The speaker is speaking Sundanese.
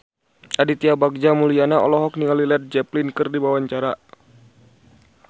Aditya Bagja Mulyana olohok ningali Led Zeppelin keur diwawancara